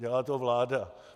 Dělá to vláda.